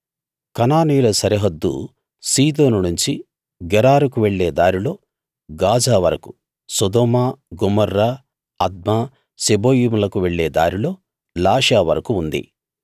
కనానీయుల సరిహద్దు సీదోను నుంచి గెరారుకు వెళ్ళే దారిలో గాజా వరకూ సొదొమ గొమొర్రా అద్మా సెబోయిములకు వెళ్ళే దారిలో లాషా వరకూ ఉంది